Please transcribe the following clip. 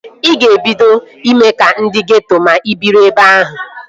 Ị ga-ebido ime ka ndị geeto ma ị biri ebe ahụ